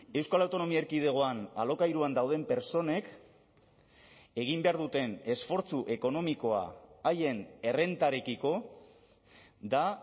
euskal autonomia erkidegoan alokairuan dauden pertsonek egin behar duten esfortzu ekonomikoa haien errentarekiko da